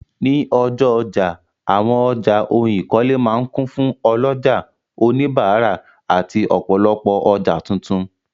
Ní ọjọ́ ọjà, àwọn ọjà ohun ìkọ́lé máa ń kún fún ọlọ́jà, òníbárà àti ọ̀pọ̀lopọ̀ ọjà tuntun.